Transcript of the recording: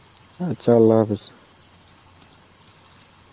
আচ্ছা Arbi .